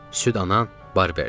Süd anan, Barberin.